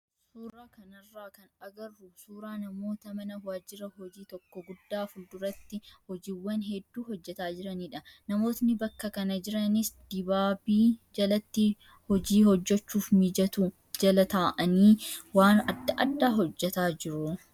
Suuraa kanarraa kan agarru suuraa namoota mana waajjira hojii tokko guddaa fuulduratti hojiiwwan hedduu hojjataa jiranidha. Namoonni bakka kana jiranis dibaabii jalatti hojii hojjachuuf mijatu jala taa'anii waan adda addaa hojjataa jiru.